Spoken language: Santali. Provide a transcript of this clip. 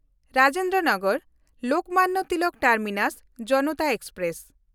Rajendra ᱱᱚᱜᱚᱨ–ᱞᱳᱠᱢᱟᱱᱱᱚ Tilak terminus Janata express